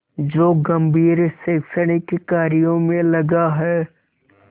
जो गंभीर शैक्षणिक कार्यों में लगा है